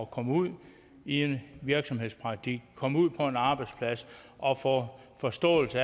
komme ud i en virksomhedspraktik komme ud på en arbejdsplads og få forståelse